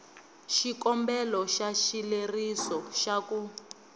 xikombelo xa xileriso xa ku